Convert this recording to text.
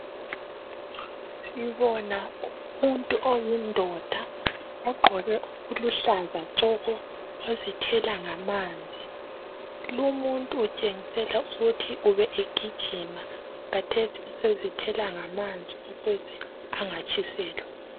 Sibona umuntu oyindoda ogqoke okuluhlaza tshoko ozithela ngamanzi. Lumuntu utshengisela ukuthi ubegijima, kathesi usezithela ngamanzi ukuze angatshiselwa.